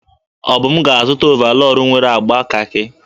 Obum ga-azụta ọvarọọr nwere agba kakị.